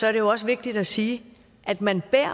er det også vigtigt at sige at man